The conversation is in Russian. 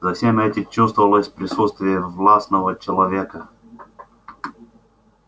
за всем этим чувствовалось присутствие властного человека